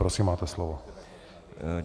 Prosím, máte slovo.